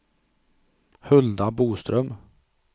Hulda Boström